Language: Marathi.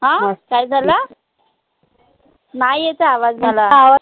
अं काय झालं? नाई येत आय आवाज मला